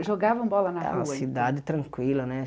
Jogavam bola na rua é uma cidade tranquila, né?